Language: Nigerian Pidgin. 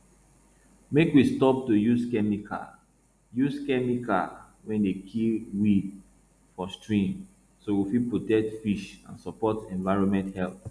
make we stop to use chemical use chemical wey dey kill weed for stream so we fit protect fish and support environment health